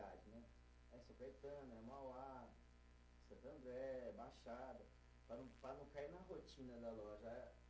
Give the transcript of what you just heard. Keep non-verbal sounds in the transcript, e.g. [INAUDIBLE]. [UNINTELLIGIBLE] é Mauá, Santo André, Baixada, para não, para não cair na rotina da loja., ah